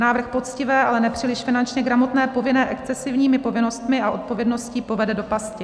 Návrh poctivé, ale nepříliš finančně gramotné povinné excesivními povinnostmi a odpovědností povede do pasti.